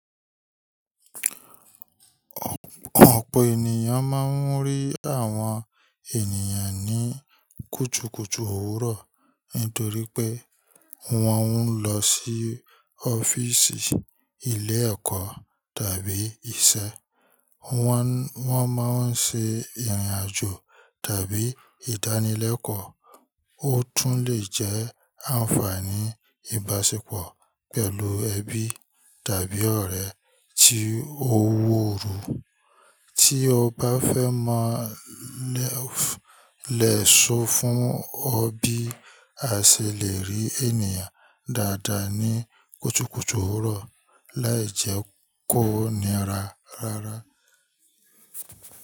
Ọ̀pọ̀ ènìyàn máa ń rí àwọn ènìyàn ní kùtùkùtù òwúrọ̀ nítorí pé wọ́n ń lọ sí ọ́fíìsì, ilé ẹ̀kọ́ tàbí iṣẹ́. Wo n Wọ́n máa ń ṣe ìrìnàjò tàbí ìdánilẹ́kọ̀ọ́. Ó tún lè jẹ́ àǹfààní ìbáṣepọ̀ pẹ̀lú ẹbí tàbí ọ̀rẹ́ tí ó wọ́ ọ́rù. Tí o bá fẹ́ mọ̀ lè so fún ọ bí a ṣe lè rí ènìyàn dáadáa ní kùtùkùtù òwúrọ̀ láìjẹ́ kó ni ra rárá.